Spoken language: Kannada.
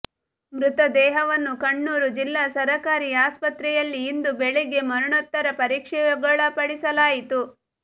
ಮೃತದೇಹವನ್ನು ಕಣ್ಣೂರು ಜಿಲ್ಲಾ ಸರಕಾರಿ ಆಸ್ಪತ್ರೆ ಯಲ್ಲಿ ಇಂದು ಬೆಳಿಗ್ಗೆ ಮರಣೋತ್ತರ ಪರೀಕ್ಷೆಗೊಳಪಡಿಸಲಾಯಿತು